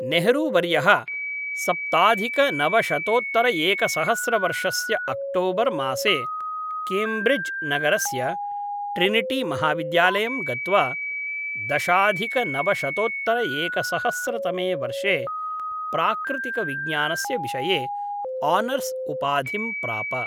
नेहरू वर्यः सप्ताधिकनवशतोत्तरएकसहस्रवर्षस्य अक्टोबर् मासे केम्ब्रिड्ज् नगरस्य ट्रिनिटीमहाविद्यालयं गत्वा दशाधिकनवशतोत्तरएकसहस्रतमे वर्षे प्राकृतिकविज्ञानस्य विषये आनर्स् उपाधिं प्राप।